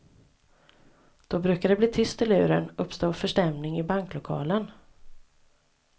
Då brukar det bli tyst i luren, uppstå förstämning i banklokalen.